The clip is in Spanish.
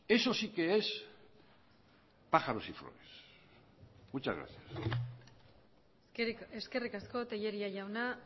eso sí que es pájaros y flores muchas gracias eskerrik asko tellería jauna